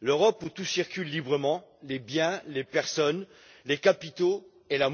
L'Europe, où tout circule librement les biens, les personnes, les capitaux et...